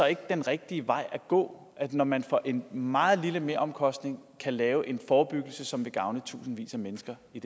ikke den rigtige vej at gå når man for en meget lille meromkostning kan lave en forebyggelse som vil gavne tusindvis af mennesker i